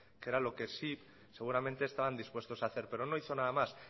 que era lo que sí seguramente estaban dispuestos a hacer pero no hizo nada más